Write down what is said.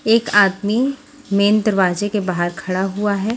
एक आदमी मैन दरवाजे के बाहर खड़ा हुआ है।